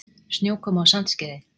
Snjókoma á Sandskeiði